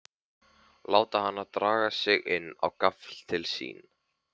Láta hana draga sig inn á gafl til sín.